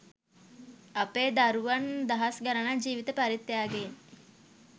අපේ දරුවන් දහස් ගනනක් ජීවිත පරිත්‍යාගයෙන්